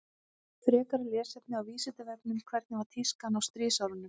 Frekara lesefni á Vísindavefnum Hvernig var tískan á stríðsárunum?